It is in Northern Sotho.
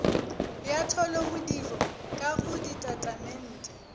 ya tholomodiro ka go ditatamente